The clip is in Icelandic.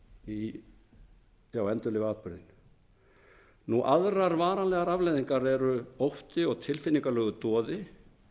í hugann og þolendurnir endurlifa atburðinn aðrar varanlegar afleiðingar eru ótti og tilfinningalegur doði